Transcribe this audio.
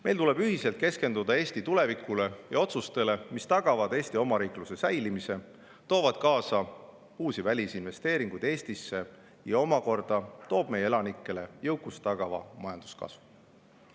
Meil tuleb ühiselt keskenduda Eesti tulevikule ja otsustele, mis tagavad Eesti omariikluse säilimise ning toovad Eestisse uusi välisinvesteeringuid, mis omakorda toovad meie elanike jõukuse tagava majanduskasvu.